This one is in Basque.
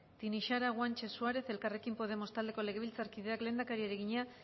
tinixara guanche suárez elkarrekin podemos taldeko legebiltzarkideak lehendakariari egina